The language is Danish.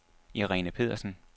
Irene Pedersen